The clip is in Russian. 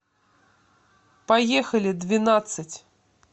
поехали двенадцать